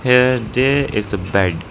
Here there is a bed.